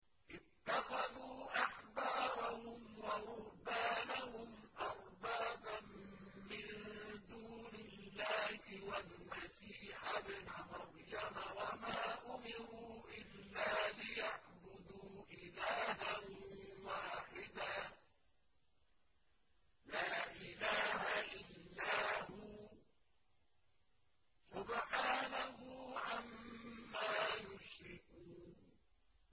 اتَّخَذُوا أَحْبَارَهُمْ وَرُهْبَانَهُمْ أَرْبَابًا مِّن دُونِ اللَّهِ وَالْمَسِيحَ ابْنَ مَرْيَمَ وَمَا أُمِرُوا إِلَّا لِيَعْبُدُوا إِلَٰهًا وَاحِدًا ۖ لَّا إِلَٰهَ إِلَّا هُوَ ۚ سُبْحَانَهُ عَمَّا يُشْرِكُونَ